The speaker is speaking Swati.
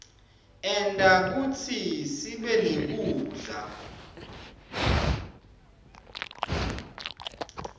enta kutsi sibenekudla